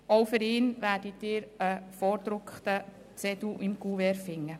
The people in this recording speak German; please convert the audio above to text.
Auch für ihn werden Sie einen vorgedruckten Zettel im Kuvert finden.